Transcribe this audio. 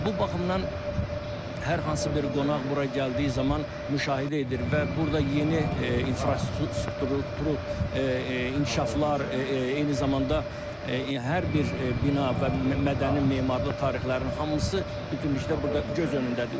Və bu baxımdan hər hansı bir qonaq bura gəldiyi zaman müşahidə edir və burda yeni infrastruktur, inkişaflar, eyni zamanda hər bir bina və mədəni memarlıq tarixlərinin hamısı bütünlükdə burda göz önündədir.